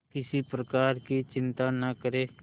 किसी प्रकार की चिंता न करें